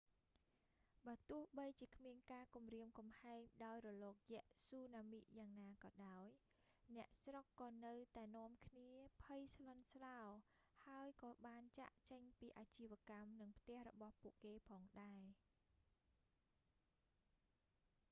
បើទោះបីជាគ្មានការគំរាមកំហែងដោយរលកយក្សស៊ូណាមិយ៉ាងណាក៏ដោយ អ្នកស្រុកក៏នៅតែនាំគ្នាភ័យស្លន់ស្លោ ហើយក៏បានចាកចេញពីអាជីវកម្ម និងផ្ទះរបស់ពួកគេផងដែរ